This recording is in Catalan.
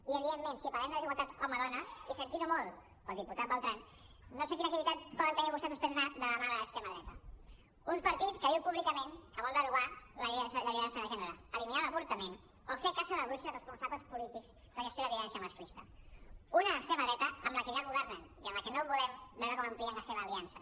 i evidentment si parlem de desigualtat home dona i sentint ho molt pel diputat bertran no sé quina credibilitat poden tenir vostès després d’anar de la mà de l’extrema dreta un partit que diu públicament que vol derogar la llei de violència de gènere eliminar l’avortament o fer caça de bruixes als responsables polítics de la gestió de la violència masclista una extrema dreta amb la que ja governen i amb la que no volem veure com amplien la seva aliança